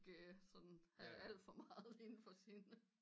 Ikke sådan have alt for meget inde for sin